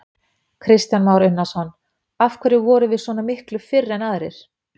Kristján Már Unnarsson: Af hverju vorum við svona miklu fyrr en aðrir?